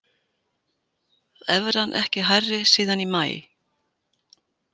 Evran ekki hærri síðan í maí